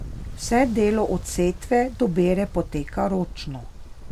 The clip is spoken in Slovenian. Vse delo od setve do bere poteka ročno.